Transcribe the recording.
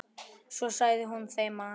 Svo sagði hún þeim að